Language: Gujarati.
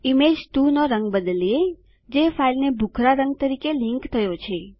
ઇમેજ 2 નો રંગ બદલીએ જે ફાઈલને ભૂખરાં રંગ તરીકે લીંક થયો છે